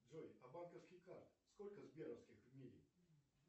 джой а банковских карт сколько сберовских в мире